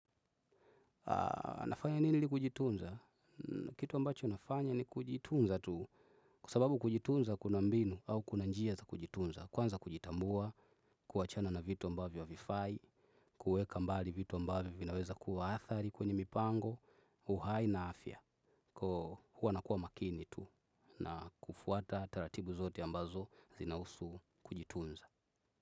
Nafanya nini ili kujitunza? Kitu ambacho nafanya ni kujitunza tu. Kwa sababu kujitunza kuna mbinu au kuna njia za kujitunza. Kwanza kujitambua, kuachana na vitu ambavyo ha vifai, kuweka mbali vitu ambavyo vinaweza kuwa athari kwenye mipango, uhai na afya. Koo hua nakua makini tu. Na kufuata taratibu zote ambazo, zinahusu kujitunza.